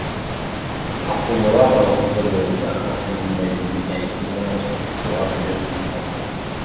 асыл мұра бағыты бойынша халқымыздың мәдени тарихи мұрасын сақтауға үлес қосады